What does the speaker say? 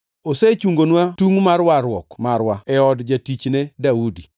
Osechungonwa tungʼ mar warruok marwa, e od jatichne Daudi,